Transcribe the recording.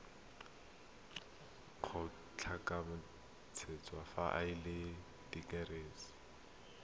kgotlatshekelo fa e le therasete